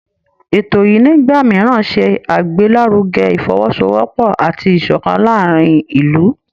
Ètò yìí nígbà mìíràn ṣe àgbélárugẹ Ìfọwọ́sowọ́pọ̀ àti ìṣọ̀kan láàárín ìlú